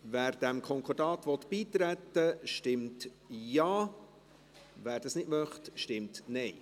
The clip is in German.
Wer diesem Konkordat beitreten möchte, stimmt Ja, wer dies nicht möchte, stimmt Nein.